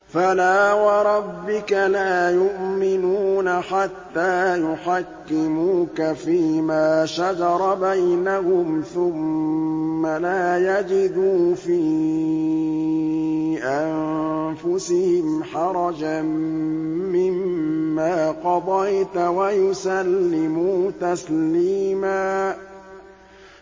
فَلَا وَرَبِّكَ لَا يُؤْمِنُونَ حَتَّىٰ يُحَكِّمُوكَ فِيمَا شَجَرَ بَيْنَهُمْ ثُمَّ لَا يَجِدُوا فِي أَنفُسِهِمْ حَرَجًا مِّمَّا قَضَيْتَ وَيُسَلِّمُوا تَسْلِيمًا